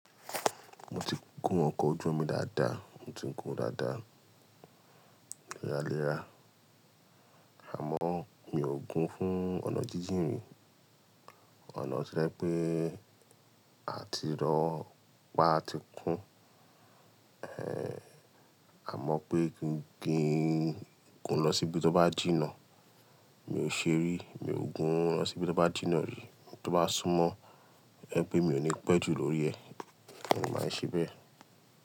Mo ti gún ọkọ̀ ojú omi dáadáa, mo ti ń gún dáadáa, léra léra, àmọ́ mi ò gun fún ọ̀nà jíjìn rí. Ọ̀nà tí ẹ pé à ti rọ́ pá ti kun, ẹ́, àmọ́ pé kí ń gún lọ síbi tó bá jìnnà. Mi ò ṣe rí, mi ò gun lọ síbi tó bá jìnnà rí, tó bá sún mọ́, ẹ́ pé mi ò ní pẹ́ jù lórí ẹ, mo máa ń ṣe bẹ́.